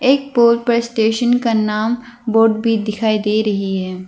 एक बोर्ड पर स्टेशन का नाम बोर्ड भी दिखाई दे रही है।